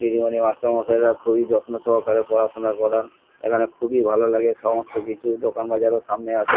দিদিমনি মাস্টার মশাইরা খুবই যত্ন সহকারে পড়াশোনা করান এখানে খুবই ভালো লাগে সমস্ত কিছু দোকানবাজারও সামনে আছে।